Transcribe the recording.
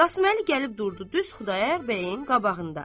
Qasım Əli gəlib durdu düz Xudayar bəyin qabağında.